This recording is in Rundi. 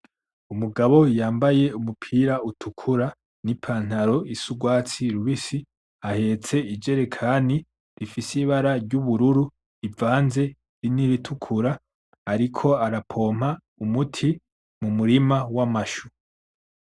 Umugabo yambaye umupira utukura n'ipantaro isa urwatsi rubisi, ahetse ijerikani rifise ibara ry'ubururu ivanze niritukura, ariko ara pompa umuti mu murima w'amashu.